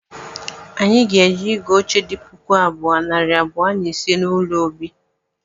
Anyị ga-eje ịgụ oche di puku abụọ, nari abụọ na ise n’ụlọ obi